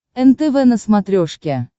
нтв на смотрешке